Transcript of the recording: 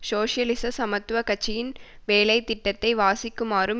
சோசியலிச சமத்துவ கட்சியின் வேலை திட்டத்தை வாசிக்குமாறும்